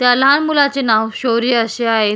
त्या लहान मुलाचे नाव शौर्य अशे आहे.